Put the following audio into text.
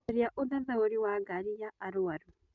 Caria ũthathaũri wa ngari ya arwaru